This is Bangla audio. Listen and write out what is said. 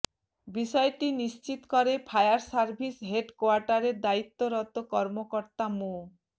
বিষয়টি নিশ্চিত করে ফায়ার সার্ভিস হেড কোয়ার্টারের দায়িত্বরত কর্মকর্তা মো